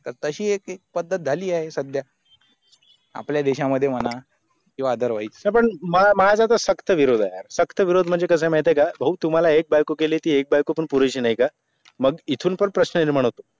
तर तशी एक पद्धत झाली आहे सध्या आपले देशा मध्ये म्हणा किवा other wise पण माझा तर सक्त विरोध आहे सक्त विरोध म्हणजे कस आहे माहिते का भाऊ तुम्हाला एक मंग इथून पण प्राशन निर्मान होतो